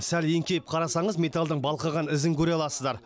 сәл еңкейіп қарасаңыз металдың балқыған ізін көре аласыздар